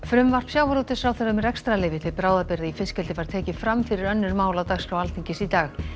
frumvarp sjávarútvegsráðherra um rekstrarleyfi til bráðabirgða í fiskeldi var tekið fram fyrir önnur mál á dagskrá Alþingis í dag